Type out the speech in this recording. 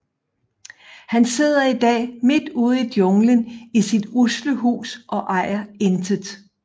Han sidder i dag midt ude i junglen i sit usle hus og ejer intet